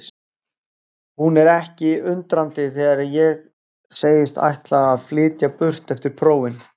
Hún er ekki undrandi þegar ég segist ætla að flytja burt eftir prófin.